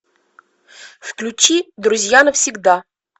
включи друзья навсегда